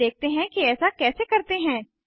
अब देखते हैं कि ऐसा कैसे करते हैं